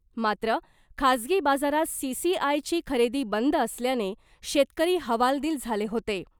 मात्र खासगी बाजारात सी.सी.आय ची खरेदी बंद असल्याने शेतकरी हवालदिल झाले होते .